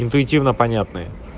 интуитивно понятные